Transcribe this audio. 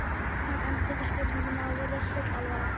Hann endurtekur spurninguna og virðist full alvara.